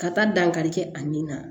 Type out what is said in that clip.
Ka taa dankari kɛ a ni na